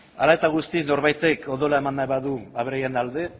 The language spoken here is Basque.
hala eta guztiz norbaitek odola eman nahi badu aberriaren alde